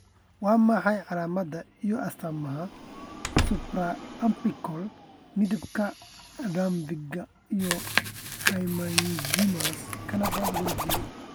Waa maxay calaamadaha iyo astaamaha supraumbilical midabka raphe-ga iyo hemangiomas cavernous wejiga?